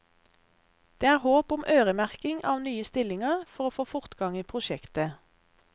Det er håp om øremerking av nye stillinger for å få fortgang i prosjektet.